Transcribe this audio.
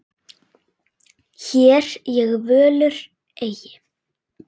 Hér ég völur eygi.